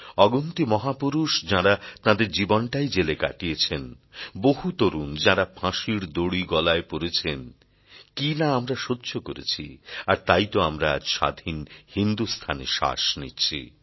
অগুন্তি মহাপুরুষ যাঁরা তাঁদের জীবনটাই জেলে কাটিয়েছেন বহু তরুণ যাঁরা ফাঁসির দড়ি গলায় পরেছেন কী না আমরা সহ্য করেছি আর তাই তো আমরা আজ স্বাধীন হিন্দুস্থানে শ্বাস নিচ্ছি